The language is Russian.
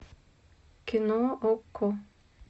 кино окко